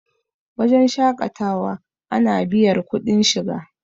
wajen shaƙatawa ana biyar kuɗin shiga